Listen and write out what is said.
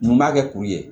Nin b'a kɛ kuru ye